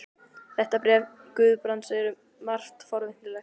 Þetta bréf Guðbrands er um margt forvitnilegt.